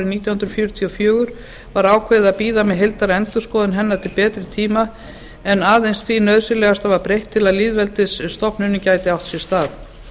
hundruð fjörutíu og fjögur var ákveðið að bíða með heildarendurskoðun hennar til betri tíma en aðeins því nauðsynlegasta var breytt til að lýðveldisstofnunin gæti átt sér stað